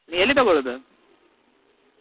ನಿ ಎಲ್ಲಿ ತಗೊಳ್ಳುದು?